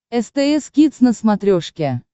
стс кидс на смотрешке